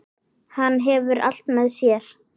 Hann hefur allt með sér.